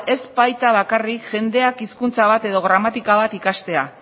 ez baita bakarrik jendeak hizkuntza bat edo gramatika bat ikastea